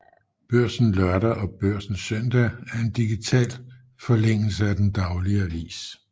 Børsen Lørdag og Børsen Søndag er en digital forlængelse af den daglige avis